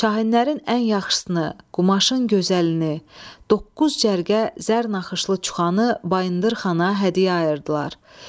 Şahinlərin ən yaxşısını, qumaşın gözəlini, doqquz cərgə zər naxışlı çuxanı Bayındır xana hədiyyə ayırdılar.